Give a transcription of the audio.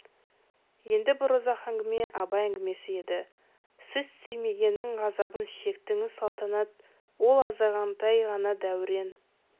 енді бір ұзақ әңгіме абай әңгімесі еді сіз сүймегеннің ғазабын шектіңіз салтанат ол азғантай ғана дәурен